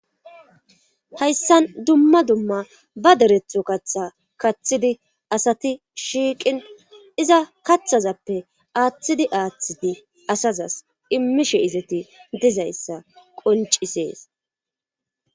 hayssan dumma dumma ba deretho katha kathidi asati shiiqin iza kathazappe aaththidi aaththidi asazas immishe izati dizayssa qoncisees